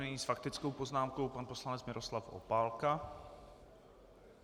Nyní s faktickou poznámkou pan poslanec Miroslav Opálka.